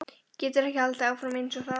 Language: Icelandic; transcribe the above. Getur ekki haldið áfram einsog það var.